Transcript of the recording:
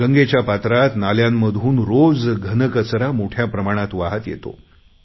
गंगेच्या पात्रात नाल्यांमधून रोज घनकचरा मोठ्या प्रमाणात वाहात येतो